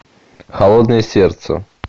холодное сердце